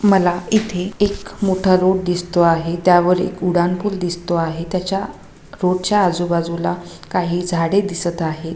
मला इथे एक मोठा रोड दिसतो आहे त्यावरी एक उडान पूल दिसतो आहे त्याच्या रोडच्या आजु बाजूला काही झाडे दिसत आहे.